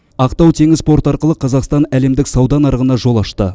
ақтау теңіз порты арқылы қазақстан әлемдік сауда нарығына жол ашты